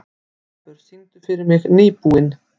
Tarfur, syngdu fyrir mig „Nýbúinn“.